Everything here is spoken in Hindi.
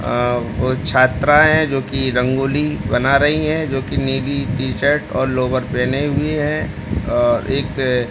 अ वो छात्राये जो कि रंगोली बना रही है जो कि नीली टी_शर्ट और लोवर पहने हुए है। अ एक --